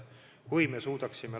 Kui me suudaksime ...